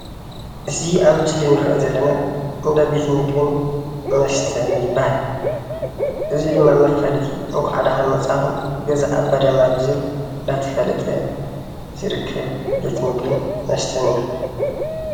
እዚ ኣብ ምስሊ እንሪኦ ዘለና እንዳቤት ምግብን መስተን ይበሃል። እዙይ ድማ መፋለጢ እንኳዕ ደሓን መፃእኹም ገዛ ኣባዳማ ዝብል እናተፋለጠ ዝርከብ ቤት ምግብን መስተን እዩ።